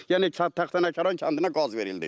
Yəni Taxtanəkəran kəndinə qaz verildi.